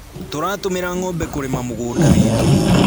Tũratũmĩra ngʻombe kũrĩma mũgũnda witũ